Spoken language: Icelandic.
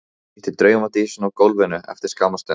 Ég hitti draumadísina á gólfinu eftir skamma stund.